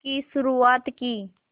की शुरुआत की